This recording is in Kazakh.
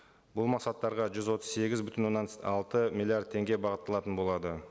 бұл мақсаттарға жүз отыз сегіз бүтін оннан алты миллиард теңге бағытталатын болады